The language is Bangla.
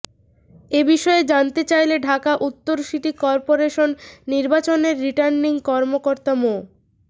এ বিষয়ে জানতে চাইলে ঢাকা উত্তর সিটি করপোরেশন নির্বাচনের রিটার্নিং কর্মকর্তা মো